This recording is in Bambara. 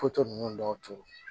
Foto ninnu dɔw to